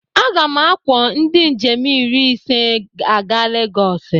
Aga m akwọ ndị njem iri ise aga Legosi.